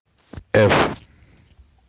ф